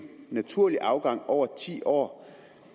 naturlig afgang over ti år